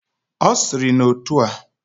Osiri na otua: